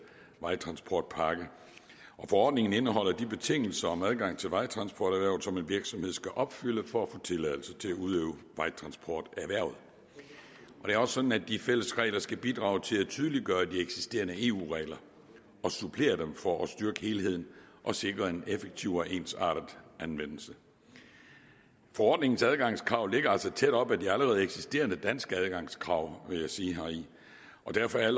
vejtransportpakke forordningen indeholder de betingelser om adgang til vejtransporterhvervet som en virksomhed skal opfylde for at få tilladelse til at udøve vejtransporterhvervet det er også sådan at de fælles regler skal bidrage til at tydeliggøre de eksisterende eu regler og supplere dem for at styrke helheden og sikre en effektiv og ensartet anvendelse forordningens adgangskrav ligger altså tæt op ad de allerede eksisterende danske adgangskrav vil jeg sige derfor er